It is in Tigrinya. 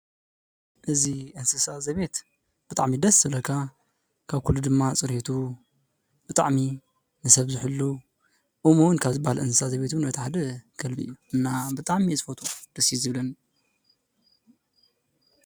እዚ እንስሳ ዘቤት ብጣዕሚ ደስ ዝብለካ ካብ ኩሉ ድማ ፅርየቱ ብጣዕሚ ንሰብ ዝሕሉ እሙን ካብ ዝብሃል እንስሳ ዘቤት እቲ ሓደ ከልቢ እዩ እና ብጣዕሚ እየ ዝፈቱ ደስ እዩ ዝብለኒ።